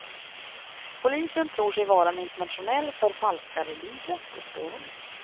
Polisen tror sig vara en internationell förfalskarliga på spåren.